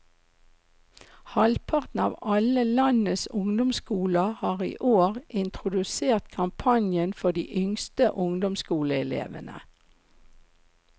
Halvparten av alle landets ungdomsskoler har i år introdusert kampanjen for de yngste ungdomsskoleelevene.